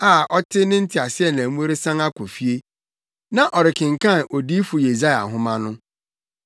a na ɔte ne teaseɛnam mu resan akɔ fie. Na ɔrekenkan Odiyifo Yesaia nhoma no.